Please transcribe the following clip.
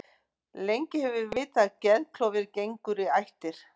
Lengi hefur verið vitað að geðklofi gengur í ættir.